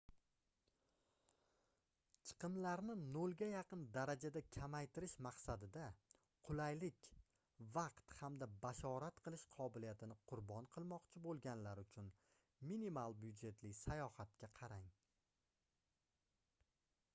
chiqimlarni nolga yaqin darajada kamaytirish maqsadida qulaylik vaqt hamda bashorat qilish qobiliyatini qurbon qilmoqchi boʻlganlar uchun minimal byudjetli sayohatga qarang